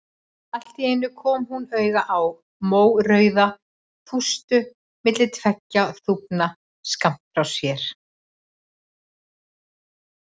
Allt í einu kom hún auga á mórauða þústu milli tveggja þúfna skammt frá sér.